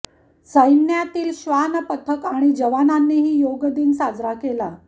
सैन्यातील श्वान पथक आणि जवानांनीही योग दिन साजरा केला